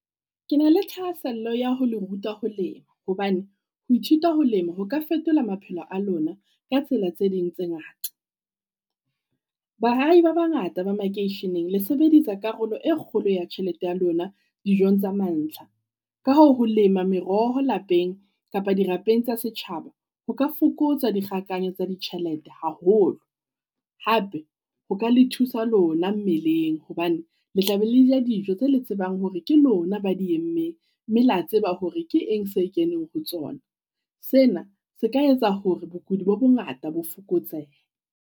Ke na le thahasello ya ho le ruta ho lema hobane, ho ithuta ho lema ho ka fetola maphelo a lona ka tsela tse ding tse ngata. Baahi ba bangata ba makeisheneng le sebedisa karolo e kgolo ya tjhelete ya lona dijong tsa mantlha. Ka hoo ho lema meroho lapeng kapa di tsa setjhaba, ho ka fokotsa dikgakanyo tsa ditjhelete haholo. Hape ho ka le thusa lona mmeleng hobane le tla be le ja dijo tse le tsebang hore ke lona ba di emme, mme la tseba hore ke eng se keneng ho tsona. Sena se ka etsa hore bokudi bo bongata bo fokotsehe.